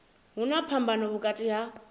hu na phambano vhukati ha